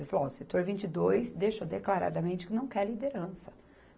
Eu falei, ó, o setor vinte e dois, deixou declaradamente que não quer liderança.